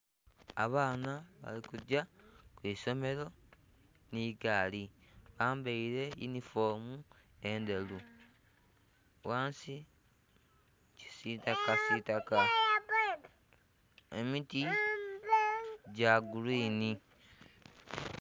Abaana balikugya kwiisimero ni gaali bambaire yinhifoomu endheru ghansi kisitaka sitaka emiti gya gulwini.